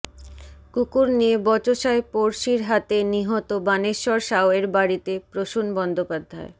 কুকুর নিয়ে বচসায় পড়শির হাতে নিহত বাণেশ্বর সাউয়ের বাড়িতে প্রসূন বন্দ্যোপাধ্যায়